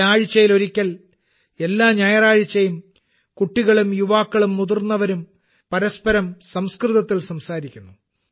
ഇവിടെ ആഴ്ചയിൽ ഒരിക്കൽ എല്ലാ ഞായറാഴ്ചയും കുട്ടികളും യുവാക്കളും മുതിർന്നവരും പരസ്പരം സംസ്കൃതത്തിൽ സംസാരിക്കുന്നു